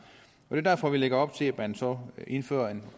det er derfor at vi lægger op til at man så indfører en